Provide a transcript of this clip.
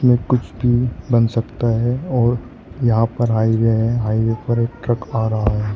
कुछ भी बन सकता है और यहां पर हाईवे है हाईवे पर एक ट्रक आ रहा है।